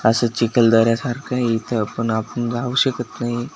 असं चिखलदऱ्या इथं पण आपण राहू शकत नाही.